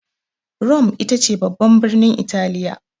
Rome ita ce babban birnin Italiya.